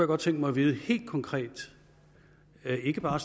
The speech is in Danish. godt tænke mig at vide helt konkret og ikke bare